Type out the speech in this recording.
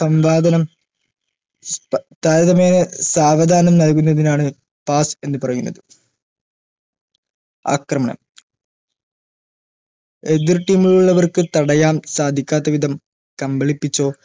സംവാധനം ത താരതമ്യേനെ സാവധാനം നൽകുന്നതിനാണ് pass എന്ന് പറയുന്നത് ആക്രമണം എതിർ team ലുള്ളവർക്ക് സാധിക്കാത്ത വിധം കമ്പളിപ്പിച്ചോ